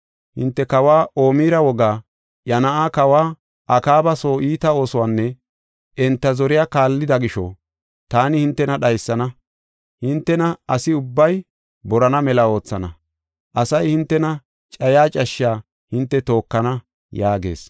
Hinte kawa Omira wogaa, iya na7aa kawa Akaaba soo iita oosuwanne enta zoriya kaallida gisho, taani hintena dhaysana; hintena asi ubbay boronna mela oothana. Asay hintena cayiya cashshaa hinte tookana” yaagees.